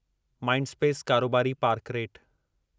Mindspace कारोबारी park rate